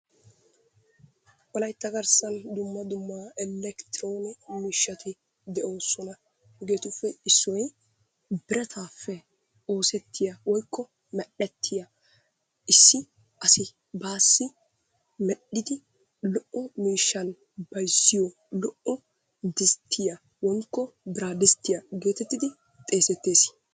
Wolaytta garssan dumma dumma elekronee miishshati de'oosona. hegetuppe issoy birattappe oosettiya woykko merettiya issi asi bassi medhdhidi lo''o miishshan bayzziyo lo''o disttiyaa woykko biradisttiyaa getettidi xeesetees.